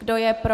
Kdo je pro?